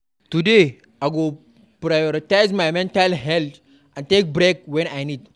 Today, I go prioritize my mental health and take breaks when I need.